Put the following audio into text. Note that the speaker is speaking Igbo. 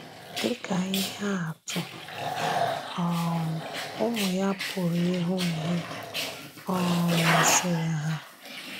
Dị́ ka íhè àtụ̀, um ụmụ ya pụrụ ịhụ́ ihe um masịrị ha.